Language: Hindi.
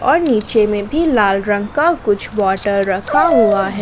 और नीचे में भी लाल रंग का कुछ बॉटल रखा हुआ है।